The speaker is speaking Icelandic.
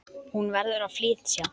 Hún verður að flytja.